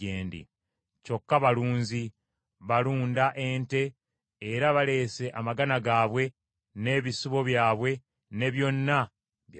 Kyokka balunzi; balunda ente era baleese amagana gaabwe n’ebisibo byabwe ne byonna bye balina.’